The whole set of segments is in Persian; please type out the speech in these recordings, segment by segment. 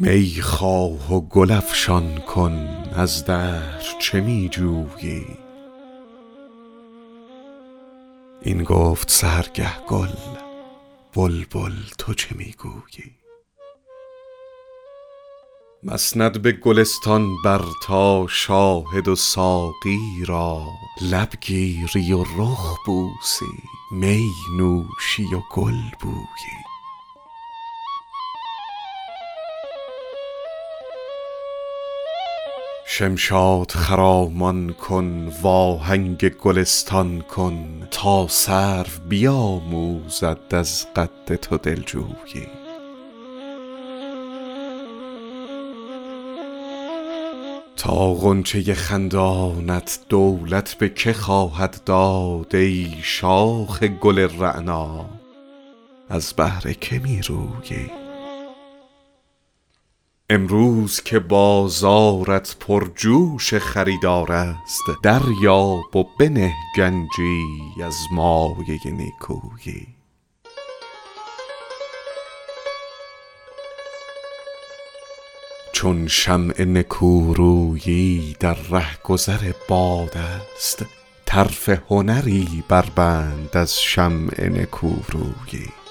می خواه و گل افشان کن از دهر چه می جویی این گفت سحرگه گل بلبل تو چه می گویی مسند به گلستان بر تا شاهد و ساقی را لب گیری و رخ بوسی می نوشی و گل بویی شمشاد خرامان کن وآهنگ گلستان کن تا سرو بیآموزد از قد تو دل جویی تا غنچه خندانت دولت به که خواهد داد ای شاخ گل رعنا از بهر که می رویی امروز که بازارت پرجوش خریدار است دریاب و بنه گنجی از مایه نیکویی چون شمع نکورویی در رهگذر باد است طرف هنری بربند از شمع نکورویی آن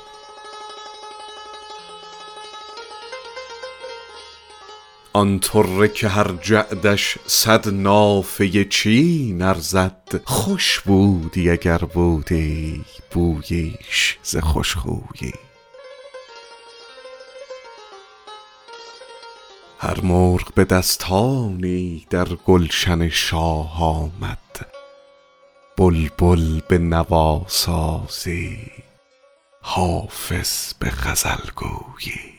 طره که هر جعدش صد نافه چین ارزد خوش بودی اگر بودی بوییش ز خوش خویی هر مرغ به دستانی در گلشن شاه آمد بلبل به نواسازی حافظ به غزل گویی